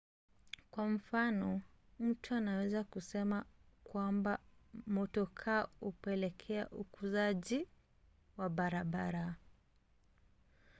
kwa mfano mtu anaweza kusema kwamba motokaa hupelekea ukuzaji wa barabara